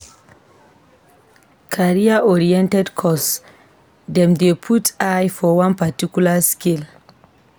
Career-oriented course dem dey put eye for one particular skill.